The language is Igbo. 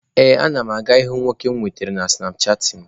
Ee, ana m aga ịhụ nwoke mụ nwetara na sụnapchaatịn.